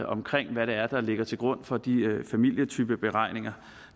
omkring hvad det er der ligger til grund for de familietypeberegninger